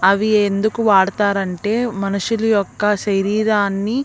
అవి ఎందుకు వాడుతారంటే మనుషుల యొక్క శరీరాన్ని.